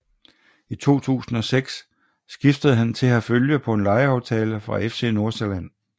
I 2006 skiftede han til Herfølge på en lejeaftale fra FC Nordsjælland